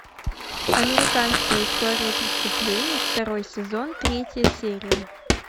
американская история преступлений второй сезон третья серия